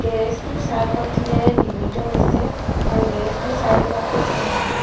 গেৰেজটো চাৰিখন টিনেৰে নিৰ্মিত হৈছে আৰু গেৰেজটো চাৰিওকাষে টিন আছে।